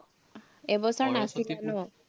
এই বছৰ